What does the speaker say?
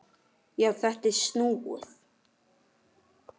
Já, þetta er snúið!